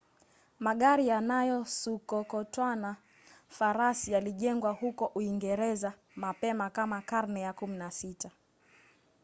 magari yanayosukokotwana farasi yalijengwa huko uingereza mapema kama karne ya 16